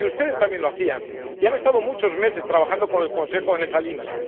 Y ustedes también lo hacían y han estado muchos meses trabajando con el Consejo en esa